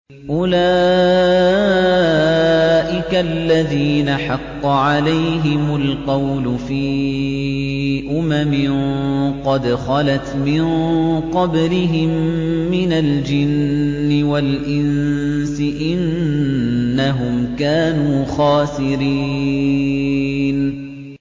أُولَٰئِكَ الَّذِينَ حَقَّ عَلَيْهِمُ الْقَوْلُ فِي أُمَمٍ قَدْ خَلَتْ مِن قَبْلِهِم مِّنَ الْجِنِّ وَالْإِنسِ ۖ إِنَّهُمْ كَانُوا خَاسِرِينَ